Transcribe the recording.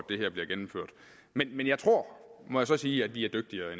det her bliver gennemført men men jeg tror må jeg så sige at vi er dygtigere